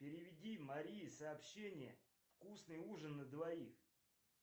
переведи марии сообщение вкусный ужин на двоих